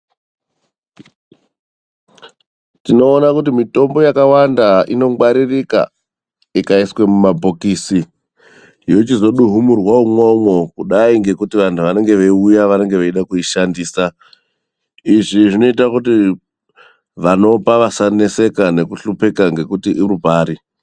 Tinoona kuti mitombo yakawanda inongwaririka ikaswe mumabhokisi, yochizoduhumurwa imwomwo. Kudai ngekuti vantu vanenge veyiuya veide kuishandisa. Izvi zvinoita kuti vanopa vasaneseka nekuhlupeka nekuti uripari.